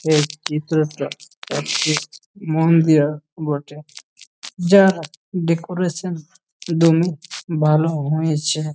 এই চিত্রটা একটি মন্দিরা বটে যা ডেকোরেশন দমই ভালো হয়েছে ।